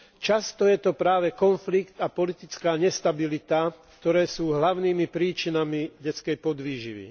Často je to práve konflikt a politická nestabilita, ktoré sú hlavnými príčinami detskej podvýživy.